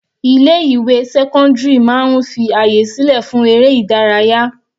Ilé ìwé sẹ́cọ́ndírì máa ń fi àyè sílẹ̀ fún eré ìdárayá.